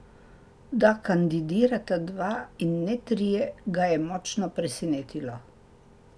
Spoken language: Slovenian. Da kandidirata dva in ne trije, ga je močno presenetilo.